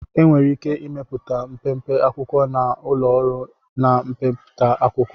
Enwere ike ịmepụta mpempe akwụkwo na ụlọ ọrụ na-emepụta akwụkwọ